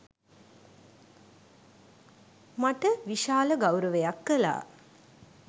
මට විශාල ගෞරවයක් කළා